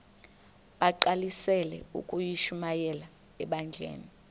bagqalisele ukushumayela ebandleni